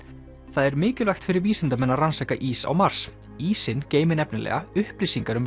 það er mikilvægt fyrir vísindamenn að rannsaka ís á Mars ísinn geymir nefnilega upplýsingar um